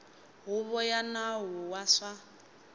huvo ya nawu wa swa